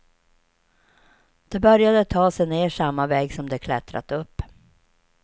De började ta sig ner samma väg som de klättrat upp.